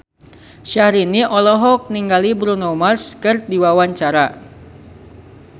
Syahrini olohok ningali Bruno Mars keur diwawancara